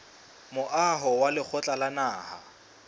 moaho wa lekgotla la naha